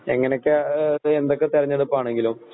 എങ്ങനെയൊക്കെ ആഹ് എന്തോക്കെതിരഞ്ഞെടുപ്പാണെങ്കിലും